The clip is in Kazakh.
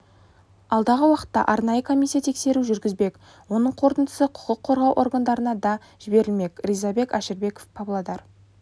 алдағы уақытта арнайы комиссия тексеру жүргізбек оның қорытындысы құқық қорғау органдарына да жіберілмек ризабек әшірбеков павлодар